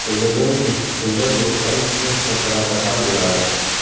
O‘ylaymanki, shunda guruhdan chiqish masalasi hal bo‘ladi.